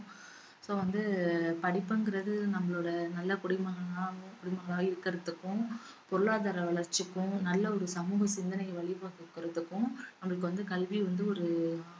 so வந்து படிப்புங்குறது நம்மளோட நல்ல குடிமகனாகவும் குடிமகனா இருக்கறதுக்கும் பொருளாதார வளர்ச்சிக்கும் நல்ல ஒரு சமூக சிந்தனை வழிபடுறதுக்கும் நம்மளுக்கு வந்து கல்வி வந்து ஒரு